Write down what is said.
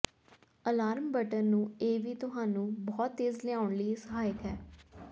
alarm button ਨੂੰ ਇਹ ਵੀ ਤੁਹਾਨੂੰ ਬਹੁਤ ਤੇਜ਼ ਲਿਆਉਣ ਲਈ ਸਹਾਇਕ ਹੈ